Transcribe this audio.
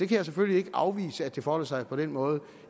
kan selvfølgelig ikke afvise at det forholder sig på den måde og